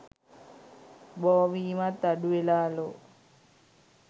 බෝවීමත් අඩුවෙලාලු